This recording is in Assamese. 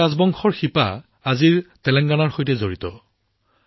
এই ৰাজবংশৰ শিপা এতিয়াও তেলেংগানাৰ সৈতে জড়িত হৈ আছে